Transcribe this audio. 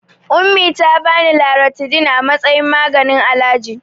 Ummi ta bani Loratidin a matsayin maganin alaji.